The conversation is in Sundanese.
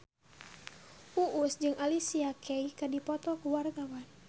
Uus jeung Alicia Keys keur dipoto ku wartawan